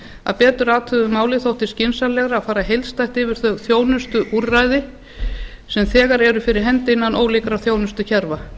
að betur athuguðu máli þótti skynsamlegra að fara heildstætt yfir þau þjónustuúrræði sem þegar eru fyrir hendi innan ólíkra þjónustukerfa